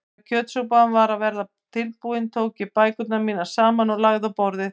Þegar kjötsúpan var að verða tilbúin tók ég bækurnar mínar saman og lagði á borðið.